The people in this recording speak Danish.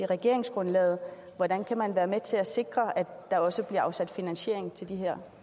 regeringsgrundlaget hvordan kan man være med til at sikre at der også bliver afsat finansiering til de her